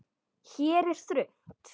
Hér er þröngt.